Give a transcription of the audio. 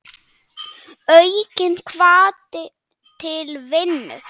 Aukinn hvati til vinnu.